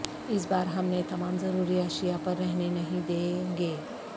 اس بار ہم نے تمام ضروری اشیاء پر رہنے نہیں دیں گے